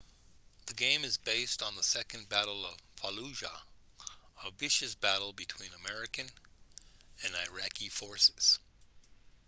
the game is based on the second battle of fallujah a vicious battle between american and iraqi forces